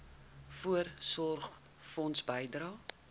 voorsorgfonds bydrae